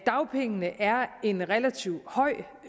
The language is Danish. dagpengene er en relativt høj